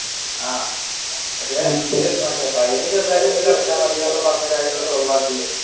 ആഹ് fine ചെറുതായിട്ട് എന്തെങ്കിലും അടച്ച മതി എന്നൊക്കെ പറഞ്ഞു കാര്യങ്ങൾ solve ആക്കി